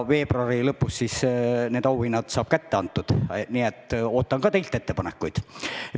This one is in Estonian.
Veebruari lõpus antakse need auhinnad kätte, nii et ootan ka teilt ettepankuid.